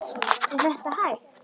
Er þetta hægt?